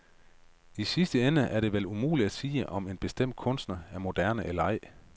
I sidste ende er det vel umuligt at sige, om en bestemt kunstner er moderne eller ej.